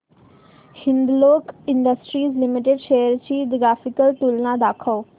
Hindalco industries limited shares ची graphical तुलना दाखव